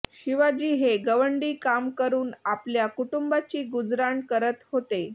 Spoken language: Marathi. शिवाजी हे गवंडी काम करून आपल्या कुटुंबाची गुजराण करत होते